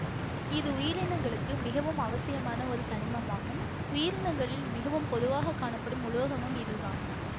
இது உயிரினங்களுக்கு மிகவும் அவசியமான ஒரு தனிமமாகும் உயிரினங்களில் மிகவும் பொதுவாக காணப்படும் உலோகமும் இதுதான்